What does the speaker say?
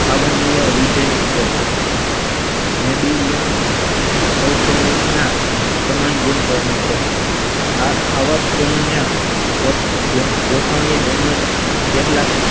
અવર્ણીય વિધેંસ છે નેડીલીયમ સમાન ગુણધર્મો છે. આ આવાસ કોનના ગોઠવણી તેમજ કેટલાક